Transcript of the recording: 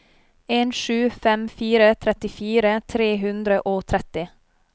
en sju fem fire trettifire tre hundre og tretti